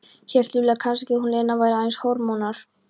Hélt Júlía kannski að hún, Lena, væri aðeins hormónar?